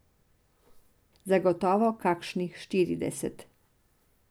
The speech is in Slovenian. Zagotovo kakšnih štirideset.